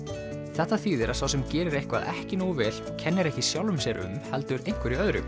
þetta þýðir að sá sem gerir eitthvað ekki nógu vel kennir ekki sjálfum sér um heldur einhverju öðru